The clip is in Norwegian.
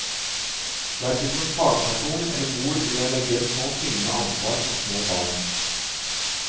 Hverken som fagperson eller mor vil jeg legge et så tyngende ansvar på små barn.